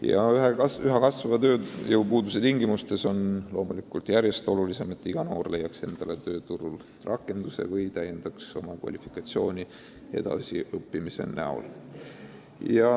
Ja üha kasvava tööjõupuuduse tingimustes on loomulikult järjest olulisem, et iga noor leiaks endale tööturul rakenduse või täiendaks oma kvalifikatsiooni edasi õppides.